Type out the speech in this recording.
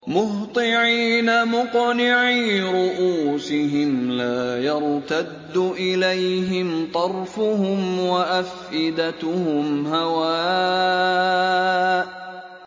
مُهْطِعِينَ مُقْنِعِي رُءُوسِهِمْ لَا يَرْتَدُّ إِلَيْهِمْ طَرْفُهُمْ ۖ وَأَفْئِدَتُهُمْ هَوَاءٌ